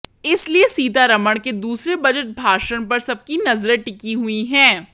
इसलिए सीतारमण के दूसरे बजट भाषण पर सबकी नजरें टिकी हुई हैं